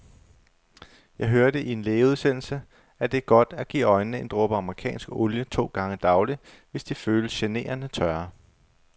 Jeg hørte i en lægeudsendelse, at det er godt at give øjnene en dråbe amerikansk olie to gange daglig, hvis de føles generende tørre.